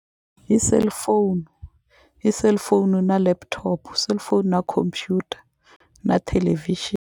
Hi cellphone i cellphone na laptop cellphone na computer na .